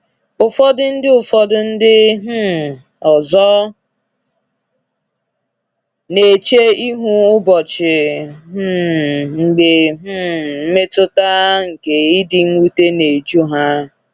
Ụfọdụ ndị Ụfọdụ ndị um ọzọ na-eche ihu ụbọchị um mgbe um mmetụta nke ịdị mwute na-eju ha.